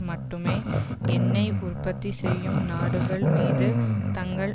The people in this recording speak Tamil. மட்டுமே எண்ணெய் உற்பத்தி செய்யும் நாடுகள் மீது தங்கள்